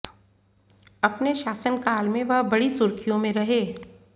अपने शासन काल में वह बड़ी सुर्खियों में रहे